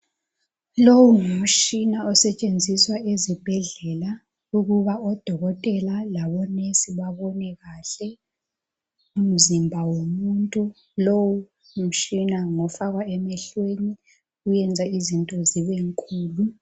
Lowu ngumtshina osetshenziswa ezibhedlela ukuba odokotela labo nurse babone kahle umzimba womuntu. Lowu mtshina ngofakwa emehlweni, wenza izinto zibenkulu.